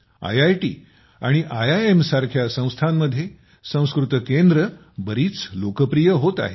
IIT आणि IIM सारख्या संस्थांमध्ये संस्कृत केंद्रे बरीच लोकप्रिय होत आहेत